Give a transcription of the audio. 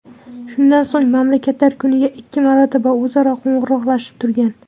Shundan so‘ng, mamlakatlar kuniga ikki marotaba o‘zaro qo‘ng‘iroqlashib turgan.